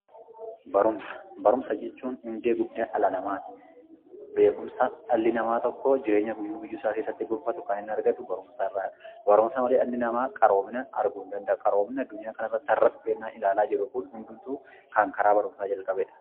Barumsa: Barumsa jechuun hundee guddina dhala namaati. Beekumsa dhalli namaa tokko jiruu guyyuu guyyuu isaa keessatti gonfatu kan argamu barumsa irraadha. Barumsa malee dhalli namaa qaroomina arguu hin danda’u. Qaroomina haradhufe kan nuti ilaalaa jirru kun karaa barumsaa kan dhufedha.